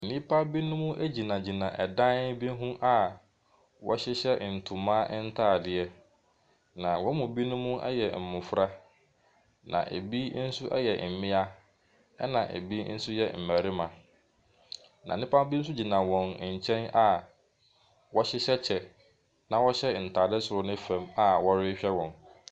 Nnipa binom egyinagyina ɛdan bi ho a, ɔhyehyɛ ntoma ntaadeɛ. Na wɔn mu binom yɛ mmɔfra na ebi nso yɛ mmia ɛna ebi nso yɛ mmarima. Na nnipa bi nso gyina wɔn nkyɛn a wɔhyehyɛ kyɛ na ɔhyɛ ntaade soro ne fam a ɔrehwɛ wɔn.